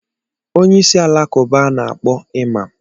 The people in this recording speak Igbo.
Onye isi alakụba a na-akpọ Iman